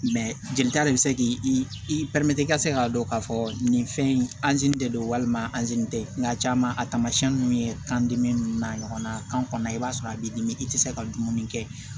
jelita de be se k'i i k'a dɔn k'a fɔ nin fɛn in anzini de don walima anzini tɛ nga caaman a taamasiyɛn nunnu ye kan dimi n'a ɲɔgɔnna kan kɔnɔna i b'a sɔrɔ a b'i dimi i tɛ se ka dumuni kɛ